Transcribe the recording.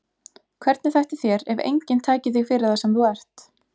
Hvernig þætti þér ef enginn tæki þig fyrir það sem þú ert?